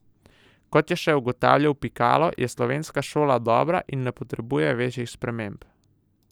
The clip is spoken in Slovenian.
Kot je še ugotavljal Pikalo, je slovenska šola dobra in ne potrebuje večjih sprememb.